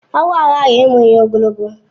Agwo aghaghị ịmụ ihe ogologo